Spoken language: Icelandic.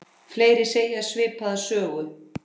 Fleiri segja svipaða sögu.